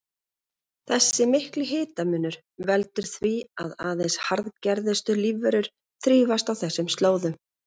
Þessi mikli hitamunur veldur því að aðeins harðgerustu lífverur þrífast á þessum slóðum.